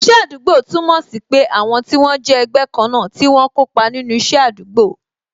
Iṣẹ́ àdúgbò túmọ̀ sí pé àwọn tí wọ́n jẹ́ ẹgbẹ́ kan náà tí wọ́n ń kópa nínú isẹ àdúgbò